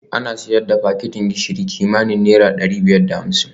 Ana sayar da fakitin gishiri kimanin naira dari biyar da hamsin